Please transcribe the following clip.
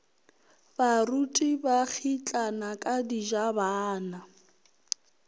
baruti ba kgitlana ka dijabana